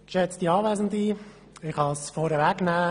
Ich kann es vorweg nehmen: